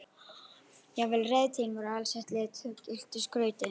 Jafnvel reiðtygin voru alsett lituðu og gylltu skrauti.